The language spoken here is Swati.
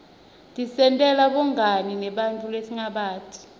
tisentela bungani nebanntfu lesingabati